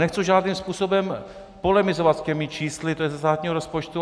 Nechci žádným způsobem polemizovat s těmi čísly, to je ze státního rozpočtu.